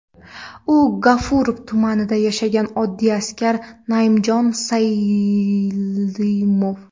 U – G‘ofurov tumanida yashagan oddiy askar Naimjon Saidalimov.